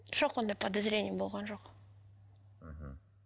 жоқ ондай подозрение болған жоқ ммм